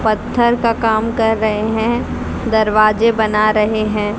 पत्थर का काम कर रहे हैं दरवाजे बना रहे हैं।